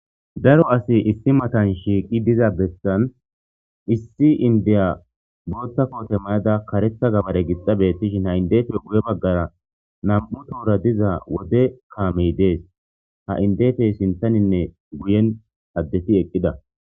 Daro asi issi matan shiiqi diza bessan issi indeya bootta koote mayada karetha gabare gixa bettishin ha indefe guye baggara nam7u toora diza wode kaamey dees ha indefey sinthaninne guyen addeti eqqida